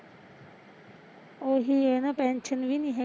ਓਹੀ ਐ ਨਾ ਪੈਨਸ਼ਨ ਵੀ ਨੀ ਹੈਗੀ